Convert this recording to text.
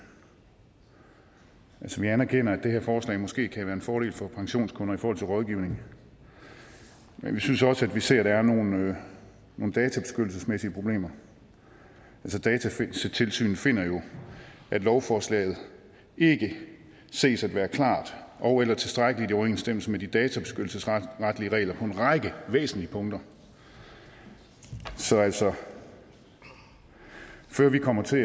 vi anerkender at det her forslag måske kan være en fordel for pensionskunder i forhold til rådgivning men vi synes også at vi ser at der er nogle databeskyttelsesmæssige problemer datatilsynet finder jo at lovforslaget ikke ses at være klart ogeller tilstrækkeligt i overensstemmelse med de databeskyttelsesretlige regler på væsentlige punkter så altså før vi kommer til